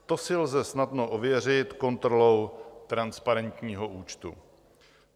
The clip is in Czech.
To si lze snadno ověřit kontrolou transparentního účtu."